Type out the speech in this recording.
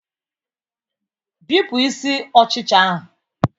Bipụ isi ọchịcha ahụ